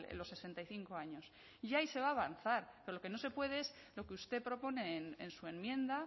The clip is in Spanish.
los sesenta y cinco años y ahí se va a avanzar pero lo que no se puede es lo que usted propone en su enmienda